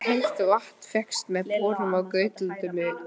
Heitt vatn fékkst með borun á Gautlöndum í